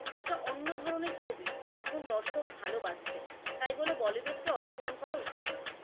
একটা অন্য ধরনের ছবি যা এখন দর্শক ভালো বাসছে, তাই বলে বলিউড কে অসম্মান করা উচিত নয়।